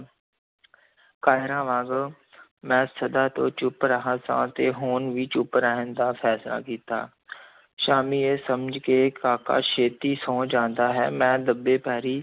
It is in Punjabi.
ਕਾਇਰਾਂ ਵਾਂਗ ਮੈਂ ਸਦਾ ਤੋਂ ਚੁੱਪ ਰਿਹਾ ਸੀ ਤੇ ਹੁਣ ਵੀ ਚੁੱਪ ਰਹਿਣ ਦਾ ਫੈਸਲਾ ਕੀਤਾ ਸਾਮੀ ਇਹ ਸਮਝ ਕੇ ਕਾਕਾ ਛੇਤੀ ਸੌਂ ਜਾਂਦਾ ਹੈ, ਮੈਂ ਦੱਬੇ ਪੈਰੀਂ